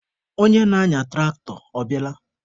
Onye na-anya tụraktọ, ọ bịala?